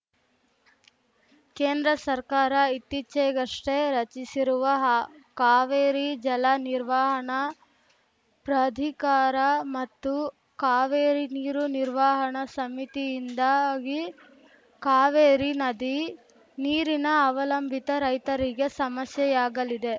ಕೇಂದ್ರ ಸರ್ಕಾರ ಇತ್ತೀಚೆಗಷ್ಟೇ ರಚಿಸಿರುವ ಹಾ ಕಾವೇರಿ ಜಲ ನಿರ್ವಹಣಾ ಪ್ರಾಧಿಕಾರ ಮತ್ತು ಕಾವೇರಿ ನೀರು ನಿರ್ವಹಣಾ ಸಮಿತಿಯಿಂದಾಗಿ ಕಾವೇರಿ ನದಿ ನೀರಿನ ಅವಲಂಬಿತ ರೈತರಿಗೆ ಸಮಸ್ಯೆಯಾಗಲಿದೆ